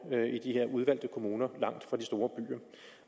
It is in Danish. i de her udvalgte kommuner langt fra de store byer